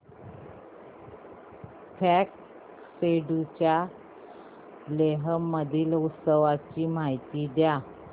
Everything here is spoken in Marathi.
फ्यांग सेडुप या लेह मधील उत्सवाची मला माहिती द्या